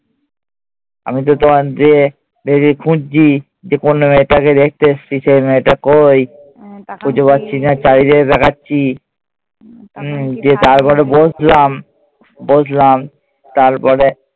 আমি তো তোমায় যেয়ে খুঁজছি যে কোন মেয়েটারে দেখতে এসছি, সেই মেয়েটা কই। খুঁজে পাচ্ছিনা। চারিদিকে তাকাচ্ছি। দিয়ে তারপরে বসলাম। বসলাম। তারপরে